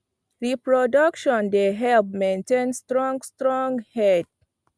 reproduction dey help maintain strong strong herd